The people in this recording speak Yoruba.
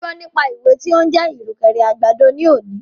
Mo gbọ́ nípa ewé tí o ń jẹ́ ìrùkẹ̀rẹ̀ àgbàdo ní òní.